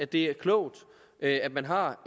det er klogt at man har